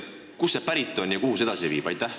Kust see pärit on ja kuhu see viib?